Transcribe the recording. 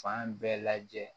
Fan bɛɛ lajɛ